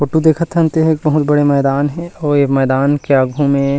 photo देखत हन ते ह एक बहुत बड़े मैदान हे अउ ए मैदान के आगु में--